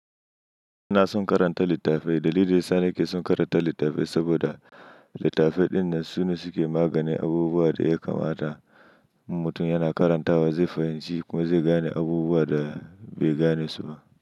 Ina son karanta littafai. Dalilin da sane ke son karanta littafai saboda littafai dinnan su ne suke maganin abubuwan da ya kamata mutum yana karantawa zai fahimci kuma zai gane abubuwan da bai gane su ba.